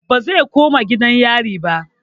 Bazai koma gidan yarin ba